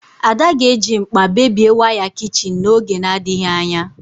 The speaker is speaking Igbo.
Ada ga-eji mkpa bébie waya kichin n'oge na-adịghị anya